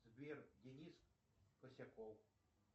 сбер денис косяков